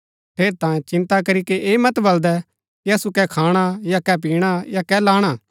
ठेरैतांये चिन्ता करीके ऐह मत बलदै कि असु कै खाणा या कै पिणा या कै लाणा